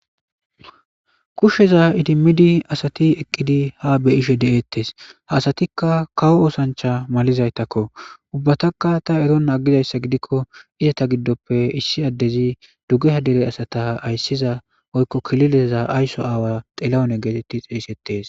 kushsheza idimmidi asati eqqidi ha beyishe deeettes haasatikka kawo oosancha malizaytakko ubbataka ta erona aggizayssa gidikko izata giddoppe issi addezi duggeha dere asata ayssiza oykko kilileza aysso aawa xelawune geetetti xeeysettes